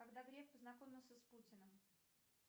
когда греф познакомился с путиным